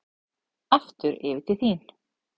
Aftur yfir til þín.